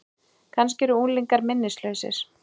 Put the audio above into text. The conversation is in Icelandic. Kannski eru unglingar minnislausir?